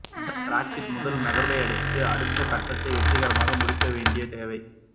Brexit முதல் கட்ட நகர்வையடுத்து அடுத்த கட்டத்தை வெற்றிகரமாக முடிக்க வேண்டிய தேவை